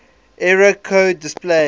error code displayed